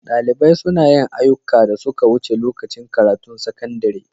Dalibai suna yin ayyukan da suka wuce lokacin karatun sakandare.